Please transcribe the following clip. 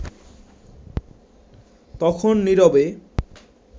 তখন নিরবে